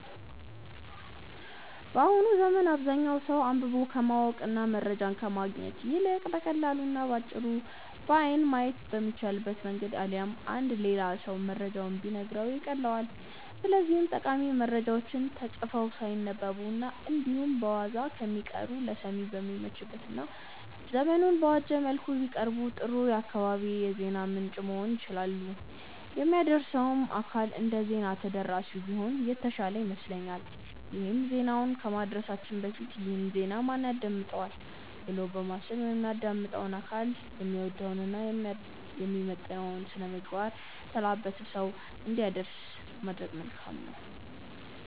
በአሁኑ ዘመን አብዛኛው ሰው አንብቦ ከማወቅ እና መረጃን ከማግኘት ይልቅ በቀላሉ እና በአጭሩ በአይን ማየት በሚቻልበት መንገድ አሊያም አንድ ሌላ ሰው መረጃውን ቢነግረው ይቀልለዋል። ስለዚህም ጠቃሚ መረጃዎች ተጽፈው ሳይነበቡ እና እንዲሁ በዋዛ ከሚቀሩ ለሰሚ በሚመች እና ዘመኑን በዋጀ መልኩ ቢቀርቡ ጥሩ የአካባቢው የዜና ምንጭ መሆን ይችላሉ። የሚያደርሰውም አካል እንደዜና ተደራሲው ቢሆን የተሻለ ይመስለኛል ይሄም ዜናውን ከማድረሳችን በፊት "ይህን ዜና ማን ያዳምጠዋል?'' ብሎ በማሰብ የሚያዳምጠው አካል የሚወደውን እና የሚመጥነውን ስነምግባር የተላበሰ ሰው እንዲያደርስ ማድረግ መልካም ነው።